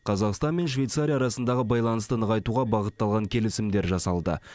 қазақстан мен швейцария арасындағы байланысты нығайтуға бағытталған келісімдер жасалды